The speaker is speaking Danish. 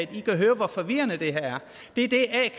kan høre hvor forvirrende det her er det er det a